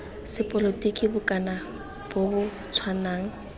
sepolotiki bokana bo bo tshwanang